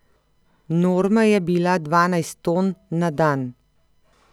Norma je bila dvanajst ton na dan.